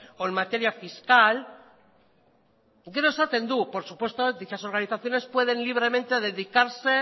o en materia fiscal gero esaten du por supuesto dichas organizaciones pueden libremente dedicarse